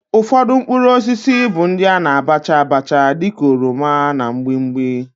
Ufodu mkpuruosisi bu ndi ana abacha abacha di ka oroma na mgbimgbi.